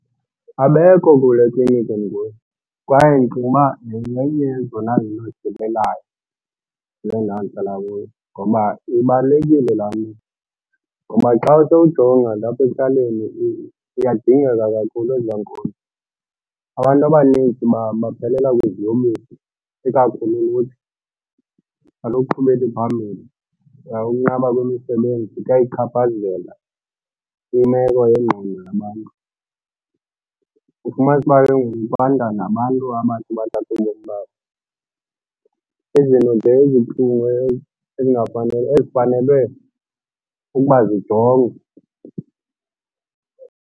Abekho kule kliniki ndikuye kwaye ndicinga uba yenye yezona zinto zisilelayo kule ndawo ndihlala kuyo ngoba ibalulekile laa nto. Ngoba xa sowujonga nje apha ekuhlaleni ziyadingeka kakhulu ezaa nkonzo. Abantu abanintsi baphelela kwiziyobisi, ikakhulu ulutsha aluqhubeli phambili. Ukunqaba kwemisebenzi kuyayichaphazela imeko yengqondo yabantu, ufumanise uba ke ngoku kwanda nabantu abathi bathathe ubomi babo. Izinto nje ezibuhlungu ezifanelwe ukuba zijongwe.